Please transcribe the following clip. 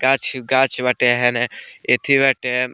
गाछ-गाछ बाटे हेने एथी बाटे।